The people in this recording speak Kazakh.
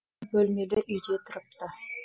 бөлмелі үйде тұрыпты